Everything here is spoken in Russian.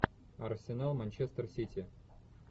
арсенал манчестер сити